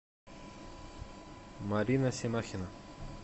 марина семахина